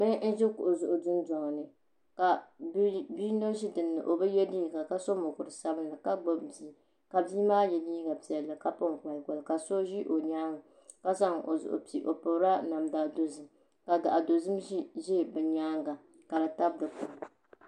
Bihi n ʒi kuɣu zuɣu dundoŋni ka biyino ʒi dinni o bi yɛ liiga ka so mokuru sabinli ka gbubi bia ka bia maa yɛ liiga piʋlli ka pini kolikoli ka so ʒi o nyaanga ka zaŋ o zuɣu fi o pirila namda dozim ka gaɣa dozim ʒʋ bi nyaanŋa ka di tab dikpuni